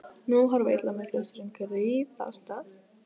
Nú horfir illa með klaustrin griðastað fátækra.